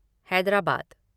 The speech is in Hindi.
हैदराबाद